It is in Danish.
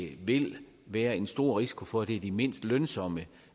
vil være en stor risiko for at det er de mindst lønsomme